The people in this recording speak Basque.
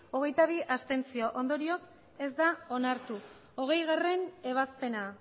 abstentzioak hogeita bi ondorioz ez da onartu hogeigarrena ebazpena